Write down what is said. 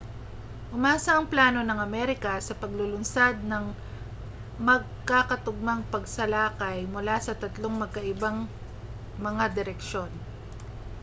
umasa ang plano ng amerika sa paglulunsad ng magkakatugmang pagsalakay mula sa tatlong magkaibang mga direksyon